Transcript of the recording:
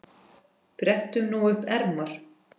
Brettum nú upp ermar.